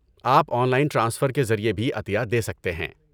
آپ online transfer کے ذریعے بھی عطیہ دے سکتے ہیں۔